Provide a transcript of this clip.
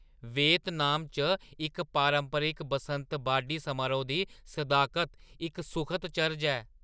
Vietnam च इस पारंपरिक बसंत बाड्ढी समारोह् दी सदाकत इक सुखद चरज ऐ।